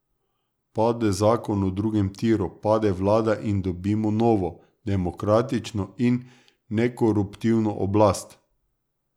Pade zakon o drugem tiru, pade vlada in dobimo novo, demokratično in nekoruptivno oblast.